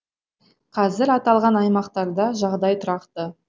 қазір аталған аймақтарда жағдай тұрақты